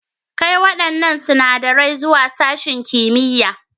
Kai waɗannan sinadarai zuwa sashin kimiyya.